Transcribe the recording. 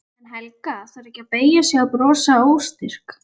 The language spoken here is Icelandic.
En Helga þarf ekki að beygja sig og brosa óstyrk.